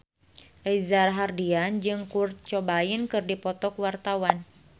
Reza Rahardian jeung Kurt Cobain keur dipoto ku wartawan